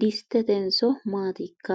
distetenso maatikka